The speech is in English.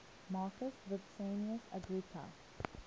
marcus vipsanius agrippa